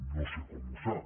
no sé com ho sap